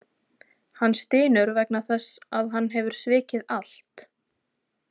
Hann stynur vegna þess að hann hefur svikið allt.